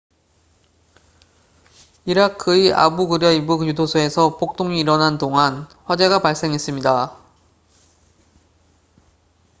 이라크의 아부 그라이브 교도소에서 폭동이 일어난 동안 화재가 발생했습니다